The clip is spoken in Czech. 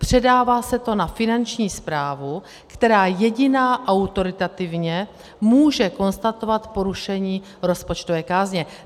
Předává se to na Finanční správu, která jediná autoritativně může konstatovat porušení rozpočtové kázně.